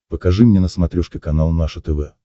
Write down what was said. покажи мне на смотрешке канал наше тв